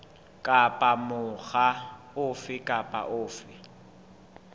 kapa mokga ofe kapa ofe